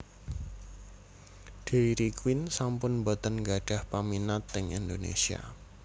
Dairy Queen sampun mboten nggadhah peminat teng Indonesia